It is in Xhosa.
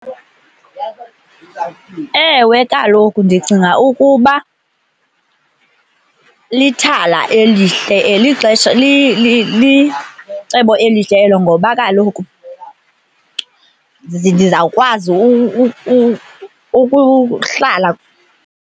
Ewe, kaloku ndicinga ukuba lithala elihle, lixesha licebo elihle elo ngoba kaloku ndizawukwazi ukuhlala.